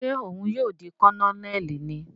Ṣe òun ní yóò di Kononeli níí?